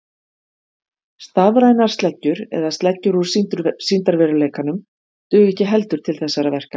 Stafrænar sleggjur eða sleggjur úr sýndarveruleikanum duga ekki heldur til þessara verka.